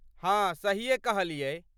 हाँ, सहीये कहलियै।